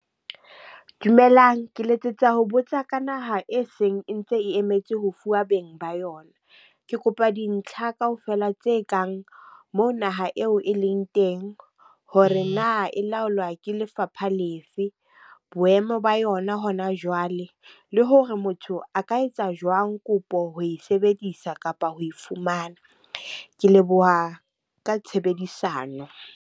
Dumelang, ke letsetsa ho botsa ka naha e seng e ntse e emetse ho fuwa beng ba yona. Ke kopa dintlha ka ofela tse kang moo naha eo e leng teng? Hore na e la lwa ke lefapha lefe? Boemo ba yona hona jwale? Le hore motho a ka etsa jwang kopo ho e sebedisa kapa ho e fumana? Ke leboha ka tshebedisano.